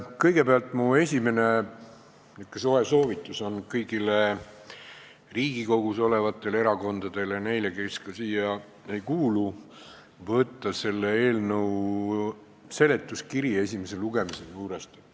Kõigepealt, mu esimene soe soovitus kõigile Riigikogus olevatele erakondadele ja ka neile, kes siia ei kuulu, on vaadata selle eelnõu esimese lugemise seletuskirja.